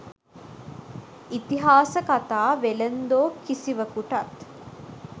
'ඉතිහාස කතා වෙළෙන්දෝ' කිසිවකුටත්